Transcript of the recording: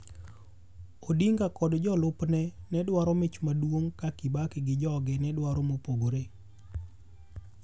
Odinga kod jolup ne nedwaro mich maduong ka Kibaki gi joge nedwaro mopogore.